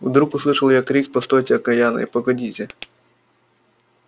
вдруг услышал я крик постойте окаянные погодите